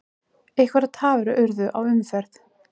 Einhverjar tafir urðu á umferð